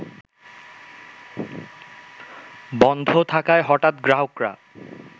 বন্ধ থাকায় হঠাৎ গ্রাহকরা